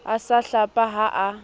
a sa hlapa ha a